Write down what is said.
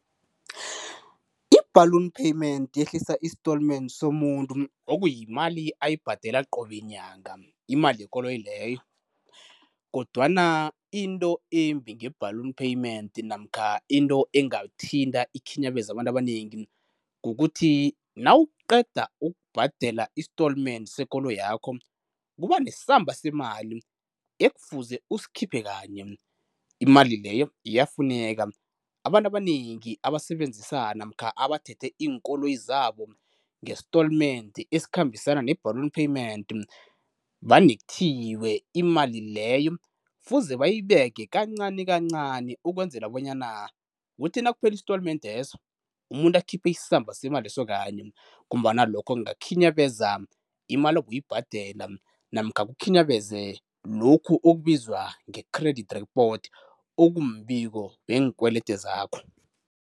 I-ballon payment yehlisa istolmende somuntu, okuyimali ayibhadela qobe nyanga imali yekoloyi leyo, kodwana into embi nge-ballon payment namkha into engathinta ikhinyabeze abantu abanengi, kukuthi nawuqeda ukubhadela istolmende sekoloyi yakho kuba nesamba semali ekufuze usikhiphe kanye, imali leyo iyafuneka. Abantu abanengi abasebenzisa namkha abathethe iinkoloyi zabo ngestolmende esikhambisana ne-ballon payment vane kuthiwe imali leyo kufuze bayibeke kancani kancani, ukwenzela bonyana kuthi nakuphela istolmendi leso umuntu akhiphe isamba semali leso kanye ngombana lokho kungakhinyabeza imali obowuyibhadela namkha kukhinyabeze lokhu okubizwa nge-credit report okumbiko wenkwelede zakho.